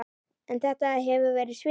En þetta hefur verið svikið.